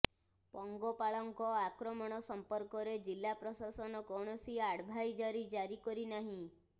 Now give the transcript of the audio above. ପଙ୍ଗପାଳଙ୍କ ଆକ୍ରମଣ ସମ୍ପର୍କରେ ଜିଲ୍ଲା ପ୍ରଶାସନ କୌଣସି ଆଡଭାଇଜାରୀ ଜାରି କରି ନାହିଁ